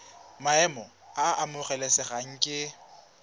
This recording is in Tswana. maemo a a amogelesegang ke